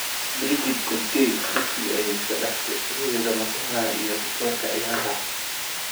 Brigid Kosgei: dugsiga ayey iskadafte, hooyada mataanaha iyo rikoorka ciyaaraha